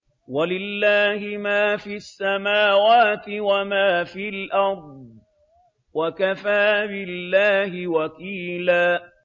وَلِلَّهِ مَا فِي السَّمَاوَاتِ وَمَا فِي الْأَرْضِ ۚ وَكَفَىٰ بِاللَّهِ وَكِيلًا